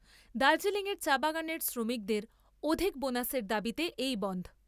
দার্জিলিং এর চা বাগানের শ্রমিকদের অধিক বোনাসের দাবীতে এই বনধ।